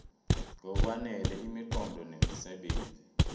ngokwanele imiqondo nemisebenzi